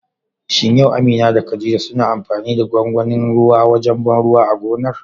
Shin yau Amina da khadija suna amfani da gwagwanin ruwa wajen ban ruwa a gonar?